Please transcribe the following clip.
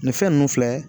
Nin fɛn ninnu filɛ